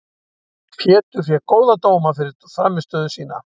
Pétur fékk góða dóma fyrir frammistöðu sína.